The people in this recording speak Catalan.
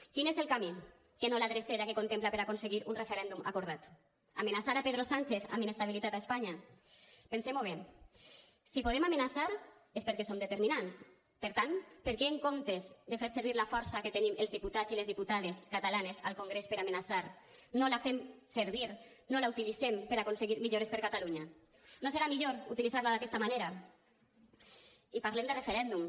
quin és el camí que no la drecera que contempla per aconseguir un referèndum acordat amenaçar pedro sánchez amb inestabilitat a espanya pensem ho bé si podem amenaçar és perquè som determinants per tant perquè en comptes de fer servir la força que tenim els diputats i les diputades catalanes al congrés per amenaçar no la fem servir no la utilitzem per aconseguir millores per a catalunya no serà millor utilitzar la d’aquesta manera i parlem de referèndum